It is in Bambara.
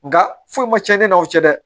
Nga foyi ma cɛn e n'aw cɛ dɛ